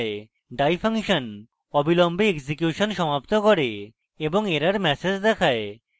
die function অবিলম্বে execution সমাপ্ত করে এবং error ম্যাসেজ দেখায়